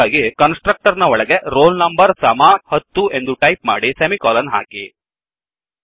ಅದಕ್ಕಾಗಿ constructor ನ ಒಳಗೆ roll number ಸಮ 10 ಎಂದು ಟೈಪ್ ಮಾಡಿ ಸೆಮಿಕೋಲನ್ ಹಾಕಿ